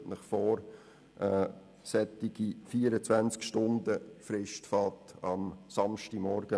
Stellen Sie sich einmal vor, eine solche 24-Stunden-Frist beginnt an einem Samstagmorgen.